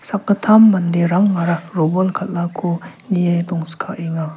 sakgittam manderangara robol kal·ako nie dongskaenga.